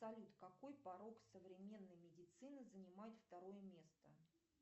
салют какой порог современной медицины занимает второе место